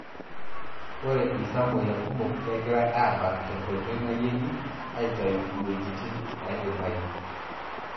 Ore ltamoyia kumok kegirae abak tenkoitoi nayengi aitayu wejitin naidimayu.